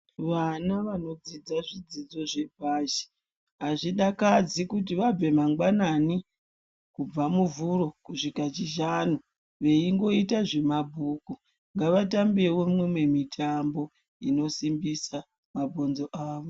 Vana vanodzidze zvidzidzo zvepashi, azvina kunaka kuti vabve mangwanani kubva muvhuro kusvika chishanu veingoita zvemabhuku, ngavatambewo mimwe mitambo inosimbisa mabhonzo avo.